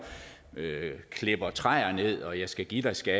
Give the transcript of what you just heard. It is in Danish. klipper træer ned og jeg skal give dig skal